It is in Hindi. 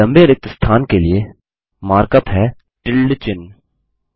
लम्बे रिक्त स्थान के लिए मार्कअप है टिल्डे चिन्ह